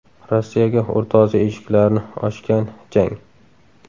Rossiyaga O‘rta Osiyo eshiklarini ochgan jang.